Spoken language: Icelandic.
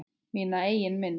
Mína eigin mynd.